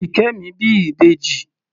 Ṣìkẹ́mi bí ìbẹjì.